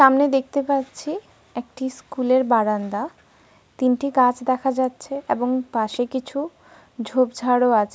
সামনে দেখতে পাচ্ছি একটি স্কুল -এর বারান্দা। তিনটি গাছ দেখা যাচ্ছে এবং পাশে কিছু ঝোঁপঝাড়ও আছে।